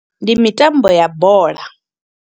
Ndi mitambo ya bola.